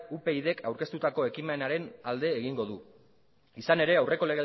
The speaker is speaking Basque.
upydk aurkeztutako ekimenaren alde egingo du izan ere aurreko